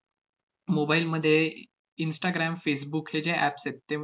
mobile मध्ये instagram facebook हे जे apps आहेत, ते